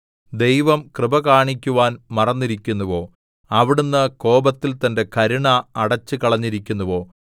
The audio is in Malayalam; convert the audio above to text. ദൈവം കൃപ കാണിക്കുവാൻ മറന്നിരിക്കുന്നുവോ അവിടുന്ന് കോപത്തിൽ തന്റെ കരുണ അടച്ചുകളഞ്ഞിരിക്കുന്നുവോ സേലാ